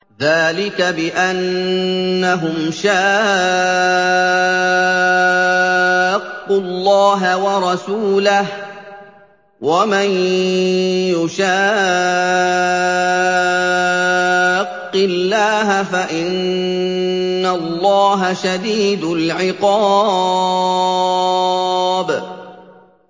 ذَٰلِكَ بِأَنَّهُمْ شَاقُّوا اللَّهَ وَرَسُولَهُ ۖ وَمَن يُشَاقِّ اللَّهَ فَإِنَّ اللَّهَ شَدِيدُ الْعِقَابِ